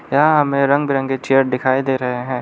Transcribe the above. यहां हमें रंग बिरंगे चेयर दिखाई दे रहे हैं।